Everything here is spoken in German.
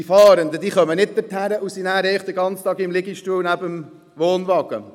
– Die Fahrenden kommen nicht dorthin und sind dann den ganzen Tag im Liegestuhl neben dem Wohnwagen.